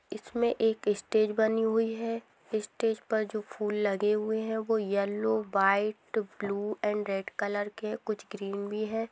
इसमे एक स्टेज बनी हुई है स्टेज पर जो फूल लगे हुए है वो yellow white blue and red colour के है कुछ ग्रीन भी है।